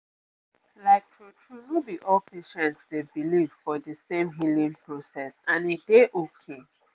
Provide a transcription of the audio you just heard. like true true no be all patients dey believe for de same healing process and e dey okay